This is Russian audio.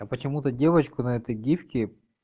а почему-то девочку на этой гифке